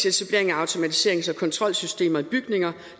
etablering af automatiserings og kontrolsystemer i bygninger